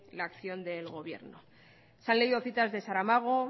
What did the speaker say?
la acción del gobierno se han leído citas de saramago